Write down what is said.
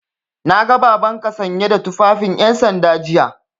Na ga Babanka sanye da tufafin 'yansanda jiya.